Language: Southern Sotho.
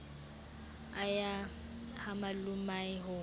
a ya ha malomae ho